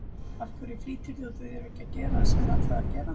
Af hverju flýtir þú þér ekki að gera það sem þér er ætlað að gera?